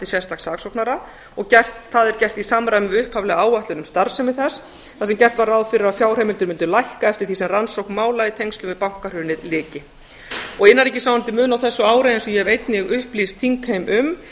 sérstaks saksóknara og það er gert í samræmi við upphaflega áætlun um starfsemi þess þar sem gert var ráð fyrir að fjárheimildir mundu lækka eftir því sem rannsókn mála í tengslum við bankahrunið lyki innanríkisráðuneytið mun á þessu ári eins og ég hef einnig upplýst þingheim um